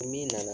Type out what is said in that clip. Ni min nana